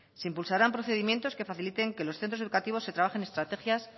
se impulsarán procedimientos que faciliten que en los centros educativos se trabajen estrategias